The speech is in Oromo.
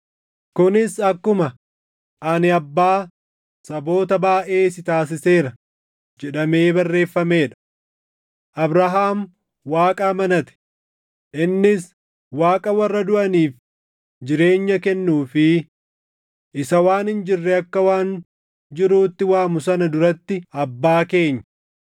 Kunis akkuma, “Ani abbaa saboota baayʼee si taasiseera” + 4:17 \+xt Uma 17:5\+xt* jedhamee barreeffamee dha. Abrahaam Waaqa amanate; innis Waaqa warra duʼaniif jireenya kennuu fi isa waan hin jirre akka waan jiruutti waamu sana duratti abbaa keenya.